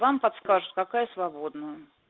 вам подскажут какая свободная